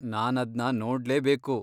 ನಾನದ್ನ ನೋಡ್ಲೇಬೇಕು.